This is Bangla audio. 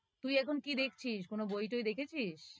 তুই এখন কি দেখছিস? কোন বই-টই দেখেছিস?